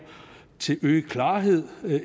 til øget klarhed